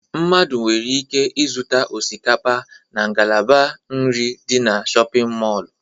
Mmadụ nwere ike zụta osikapa na ngalaba nke nri dị na shọpịn mọlụ.